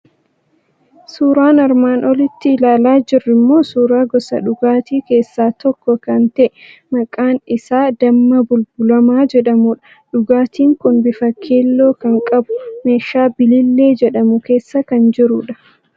Suuraan armaan olitti ilaalaa jirru immoo suuraa gosa dhugaatii keessaa tokko kan ta'e, maqaan isaa damma bulbulamaa jedhamudha. Dhugaatiin kun bifa keelloo kan qabu, meeshaa biliillee jedhamu keessa kan jirudha.